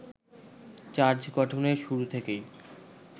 charge গঠনের শুরু থেকেই